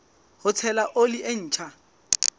ho tshela oli e ntjha